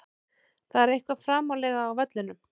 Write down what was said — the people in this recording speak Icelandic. Það er eitthvað framarlega á vellinum.